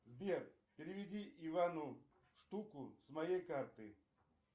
сбер переведи ивану штуку с моей карты